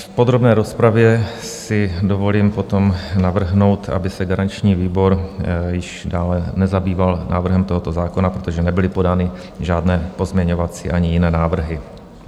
V podrobné rozpravě si dovolím potom navrhnout, aby se garanční výbor již dále nezabýval návrhem tohoto zákona, protože nebyly podány žádné pozměňovací ani jiné návrhy.